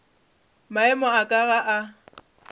maemo a ka ga a